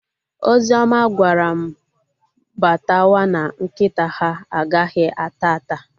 Ozioma gwara m batawa na nkịta ha a ghaghị ata ata